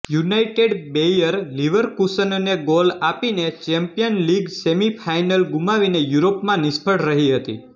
United Bayer લિવરકુસનને goal આપીને champion league semi final ગુમાવીને યુરોપમાં નિષ્ફળ રહી હતી